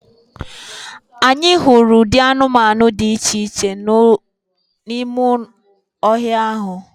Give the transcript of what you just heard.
Anyị hụrụ ụdị anụmanụ dị iche iche n’ime ọhịa ahụ